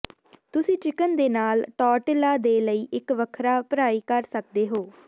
ਤੁਸੀਂ ਚਿਕਨ ਦੇ ਨਾਲ ਟੌਰਟਿਲਾ ਦੇ ਲਈ ਇੱਕ ਵੱਖਰਾ ਭਰਾਈ ਕਰ ਸਕਦੇ ਹੋ